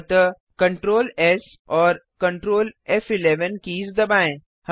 अतः Ctrl और Ctrl keys दबाएँ